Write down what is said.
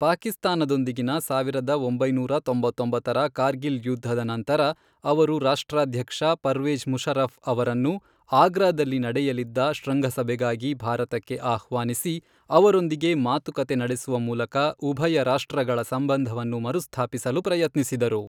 ಪಾಕಿಸ್ತಾನದೊಂದಿಗಿನ ಸಾವಿರದ ಒಂಬೈನೂರ ತೊಂಬತ್ತೊಂಬತ್ತರ ಕಾರ್ಗಿಲ್ ಯುದ್ಧದ ನಂತರ, ಅವರು ರಾಷ್ಟ್ರಾಧ್ಯಕ್ಷ ಪರ್ವೇಜ಼್ ಮುಷರಫ಼್ ಅವರನ್ನು ಆಗ್ರಾದಲ್ಲಿ ನಡೆಯಲಿದ್ದ ಶೃಂಗಸಭೆಗಾಗಿ ಭಾರತಕ್ಕೆ ಆಹ್ವಾನಿಸಿ, ಅವರೊಂದಿಗೆ ಮಾತುಕತೆ ನಡೆಸುವ ಮೂಲಕ ಉಭಯ ರಾಷ್ಟ್ರಗಳ ಸಂಬಂಧವನ್ನು ಮರುಸ್ಥಾಪಿಸಲು ಪ್ರಯತ್ನಿಸಿದರು.